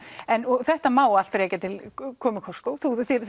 en þetta má allt rekja til komu Costco